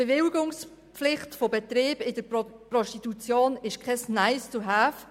Die Bewilligungspflicht zum Führen von Betrieben in der Prostitution ist kein Nice-to-have.